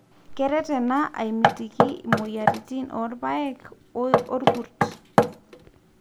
keret ena aimitiki moyiaritin o ilpaek oo ilkurt